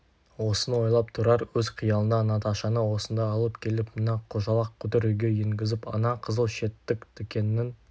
осыны ойлап тұрар өз қиялында наташаны осында алып келіп мына қожалақ қотыр үйге енгізіп ана қызыл шеттік тікеннің